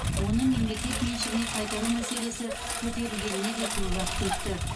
оны мемлекет меншігіне қайтару мәселесі көтерілгеніне де көп уақыт өтті